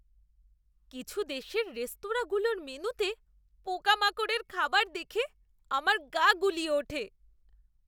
কিছু দেশের রেস্তোরাঁগুলোর মেনুতে পোকামাকড়ের খাবার দেখে আমার গা গুলিয়ে ওঠে।